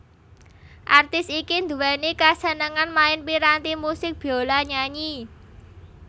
Artis iki nduwèni kasenengan main piranti musik biola nyanyi